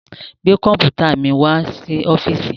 Gbé kọ̀ḿpùtà mi wá sí ọ́fíísì!